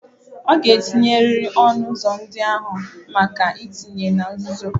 Ọ ga-etinyerịrị ọnụ ụzọ ndị ahụ maka ntinye na nzuzo.